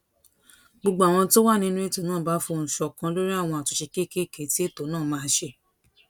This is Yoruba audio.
gbogbo àwọn tó wà nínú ètò náà bá fohùn ṣòkan lórí àwọn àtúnṣe kéékèèké tí ètò náà máa ṣe